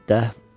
Belədir də.